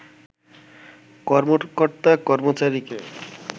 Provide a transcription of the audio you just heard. কর্মকর্তা-কর্মচারিকে